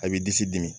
A b'i disi dimi